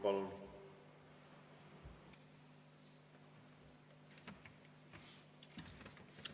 Palun!